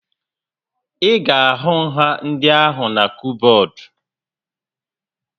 Ị ga-ahụ nha ndị ahụna kọbọd